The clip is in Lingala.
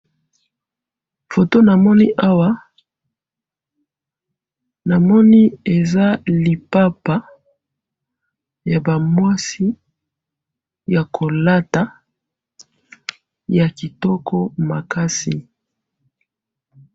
photo namoni awa namoni eza lipapa yaba muasi ya kolata ya kitoko makasi